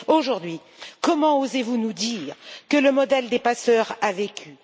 Aujourd'hui, comment osez vous nous dire que le modèle des passeurs a vécu?